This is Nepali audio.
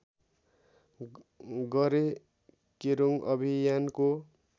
गरे केरूङ अभियानको